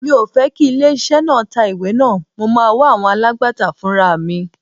Mi ò fẹ́ kí ilé iṣẹ́ náà tá ìwé náà, mo máa wá àwọn alágbàtà fúnraà mi.